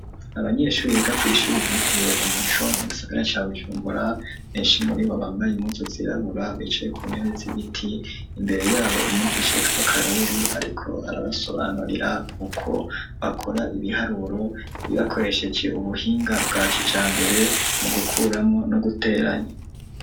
Abanyeshure biga kw'ishure ryitiriwe umuco mu gisagara ca bujumbura benshi muribo bambaye impuzu zirabura bicaye ku ntebe zibiti imbere yabo umwikishaitwa karori ariko arabasobanurira uko bakora ibiharuro bibakoresheje ubuhinga bwa kija mbere mu gukuramwo no guteranya.